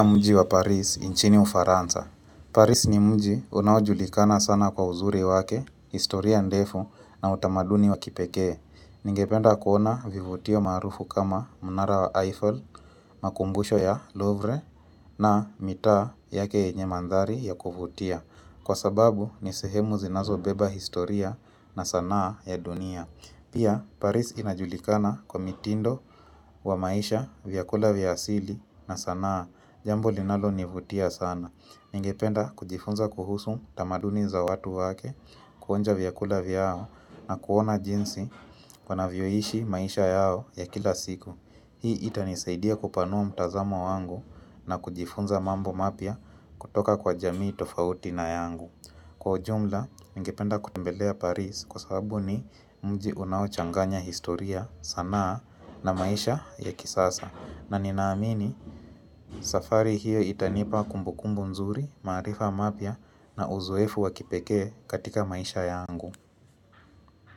Nchini ufaransa, Paris ni mji unajulikana sana kwa uzuri wake, historia ndefu na utamaduni wakipekee. Ningependa kuona vivutio maarufu kama munara wa Eiffel, makumbusho ya Louvre na mitaa yake enye mandhari ya kuvutia. Kwa sababu, nisehemu zinazo beba historia na sanaa ya dunia. Pia Paris inajulikana kwa mitindo wa maisha, vyakula vyasili na sanaa. Jambo linalo nivutia sana. Ningependa kujifunza kuhusu tamaduni za watu wake, kuonja vyakula vyao na kuona jinsi wanavyoishi maisha yao ya kila siku Hii, itanisaidia kupanua mtazamo wangu na kujifunza mambo mapya kutoka kwa jamii tofauti na yangu. Kwa ujumla, ningependa kutembelea Paris, kwa sababu ni mji unao changanya historia sanaa na maisha ya kisasa, na ninaamini safari hiyo itanipa kumbukumbu mzuri, maarifa mapya na uzoefu wakipekee katika maisha yangu.